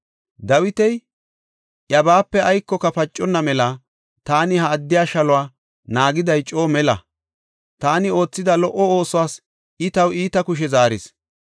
Dawiti, “Iyabape aykoyka paconna mela taani ha addiya shaluwa naagiday coo mela; taani oothida lo77o oosuwas I taw iita kushe zaaris.